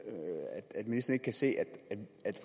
at se det